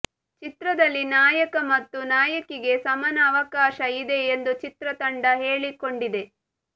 ಚಿತ್ರದಲ್ಲಿ ನಾಯಕ ಮತ್ತು ನಾಯಕಿಗೆ ಸಮಾನ ಅವಕಾಶ ಇದೆ ಎಂದು ಚಿತ್ರತಂಡ ಹೇಳಿಕೊಂಡಿದೆ